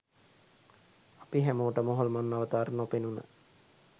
අපි හැමෝටම හොල්මන් අවතාර නොපෙනුන